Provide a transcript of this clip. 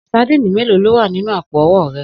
Sadíìnì mélòó ló wà nínú àpò o̩wó̩ re̩?